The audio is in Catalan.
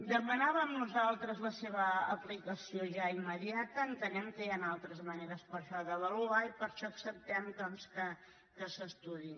demanàvem nosaltres la seva aplicació ja immediata entenem que hi han altres maneres per això d’avaluar i per això acceptem doncs que s’estudiï